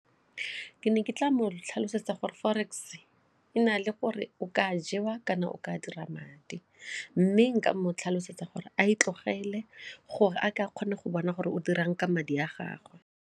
Ke ne ke tla mo tlhalosetsa gore forex e na le gore o ka jewa kana o ka dira madi mme nka mo tlhalosetsa gore a e tlogele gore a kgone go bona gore o dira eng ka madi a gagwe.